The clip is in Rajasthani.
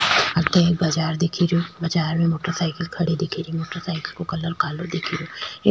अठे एक बाजार दिख रो बाजार में मोटर साइकल खड़े दिख री मोटर साइकल को कलर कालों दिख रो।